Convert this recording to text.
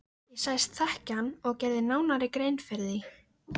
Engill, kanntu að spila lagið „Í hjarta mér“?